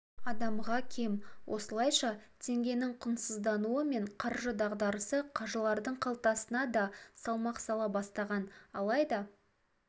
адамға кем осылайша теңгенің құнсыздануы мен қаржы дағдарысы қажылардың қалтасына да салмақ сала бастаған алайда